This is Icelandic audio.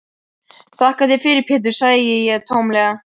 Þakka þér fyrir Pétur, segi ég tómlega.